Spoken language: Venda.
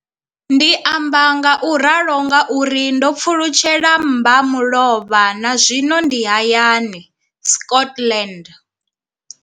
Ndi amba ngauralo nga uri ndo pfulutshela mbamulovha na zwino ndi hayani, Scotland.